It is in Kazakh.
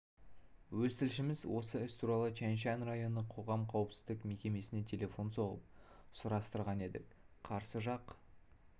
өз тілшіміз осы іс туралы тияншан районы қоғам қауіпсіздік мекемесіне телефон соғып сұрастырған едік қарсы жақ